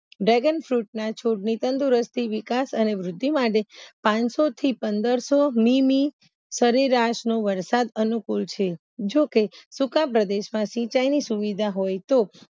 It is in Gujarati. Dragon Fruit ના તંદુરસ્તી વિકાસ અને વૃદ્ધિ માટે પનસોથી પંદરસો મીમી સરેરાશનો વરસાદ અનુકુળ છે જોકે સુકા પ્રદેશમાં સિંચાઇની સુવિધા હોય તો